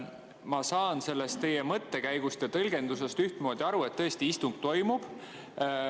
Ma saan teie mõttekäigust ja tõlgendusest aru, et istung toimub.